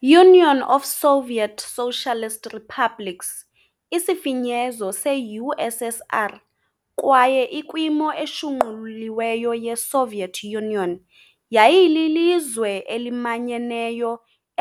Union of Soviet Socialist Republics, isifinyezo se-USSR kwaye ikwimo eshunquliweyo yeSoviet Union, yayililizwe elimanyeneyo